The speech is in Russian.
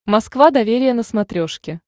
москва доверие на смотрешке